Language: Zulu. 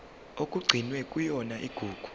okugcinwe kuyona igugu